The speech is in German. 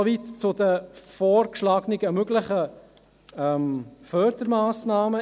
So viel zu den vorgeschlagenen, möglichen Förderungsmassnahmen.